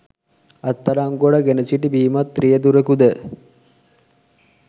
අත්අඩංගුවට ගෙන සිටි බීමත් රියදුරෙකුද